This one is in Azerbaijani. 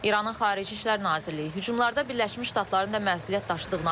İranın Xarici İşlər Nazirliyi hücumlarda Birləşmiş Ştatların da məsuliyyət daşıdığını açıqlayıb.